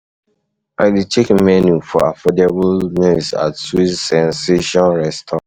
I dey check menu for affordable meals at Sweet Sensation restaurant.